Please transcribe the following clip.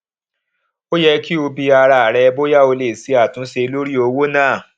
ó yẹ kó o bi ara rẹ bóyá o lè ṣe àtúnṣe lórí owó ná